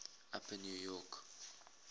upper new york